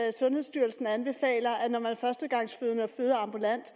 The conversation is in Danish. at sundhedsstyrelsen anbefaler er førstegangsfødende og føder ambulant